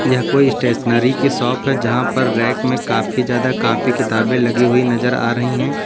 यह कोई स्टेशनरी की शॉप है जहां पर रैक में काफी ज्यादा कापी किताबें लगी हुई नजर आ रही है।